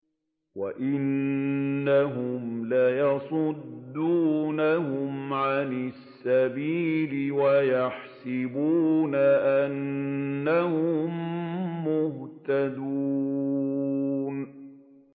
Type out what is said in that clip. وَإِنَّهُمْ لَيَصُدُّونَهُمْ عَنِ السَّبِيلِ وَيَحْسَبُونَ أَنَّهُم مُّهْتَدُونَ